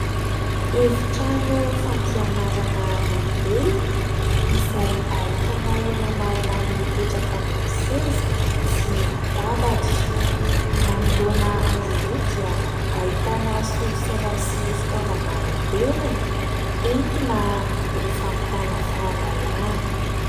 Efitrano fampianarana lehibe izay ahitana olona maromaro mipetraka ambony seza sy latabatra. Manoloana azy ireo dia ahitana solosaina sy fitaovana moderina entina ho fampitana fahalalàna.